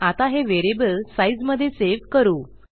आता हे व्हेरिएबल sizeमधे सेव्ह करू